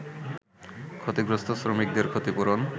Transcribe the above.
ক্ষতিগ্রস্ত শ্রমিকদের ক্ষতিপূরণ